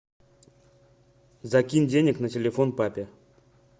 закинь денег на телефон папе